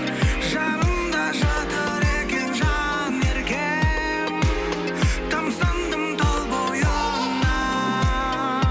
жанымда жатыр екен жанеркем тамсандым тал бойыңа